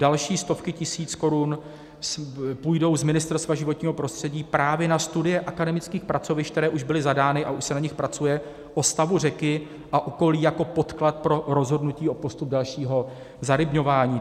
Další stovky tisíc korun půjdou z Ministerstva životního prostředí právě na studie akademických pracovišť, které už byly zadány, a už se na nich pracuje, o stavu řeky a okolí jako podklad pro rozhodnutí o postupu dalšího zarybňování.